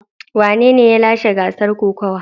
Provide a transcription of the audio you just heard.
Wanene ya lashe gasar kokawa?